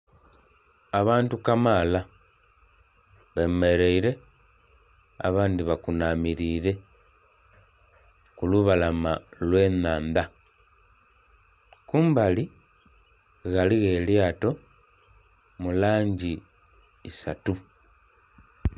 Abantu kamala bemereire abandi bakunamire ku lubalama olwe nhaandha. Kumbali ghaligho elyato mu langi isatu